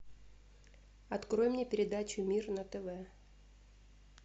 открой мне передачу мир на тв